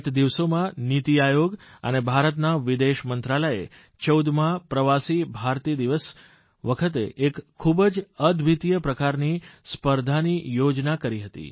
ગત દિવસોમાં નીતિ આયોગ અને ભારતના વિદેશ મંત્રાલયે 14મા પ્રવાસી ભારતીય દિવસ વખતે એક ખૂબ જ અદ્વિતિય પ્રકારની સ્પર્ધાની યોજના કરી હતી